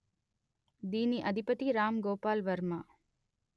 దీని అధిపతి రామ్ గోపాల్ వర్మ